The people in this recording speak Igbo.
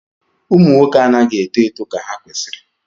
ụmụ nwoke anaghị eto eto ka ha kwesịrị